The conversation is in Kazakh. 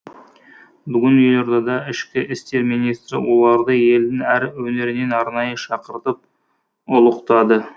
бүгін елордада ішкі істер министрі оларды елдің әр өңірінен арнайы шақыртып ұлықтады